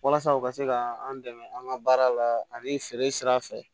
Walasa u ka se ka an dɛmɛ an ka baara la ani feere sira fɛ